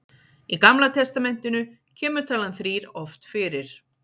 í gamla testamentinu kemur talan þrír oft fyrir